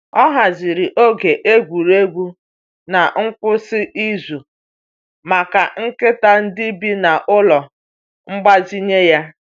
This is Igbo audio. Ọ haziri oge egwuregwu n’ngwụsị izu maka nkịta ndị bi n’ụlọ mgbazinye ya.